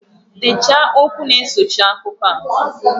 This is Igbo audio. Dechaa okwu na-esochi akụkọ a!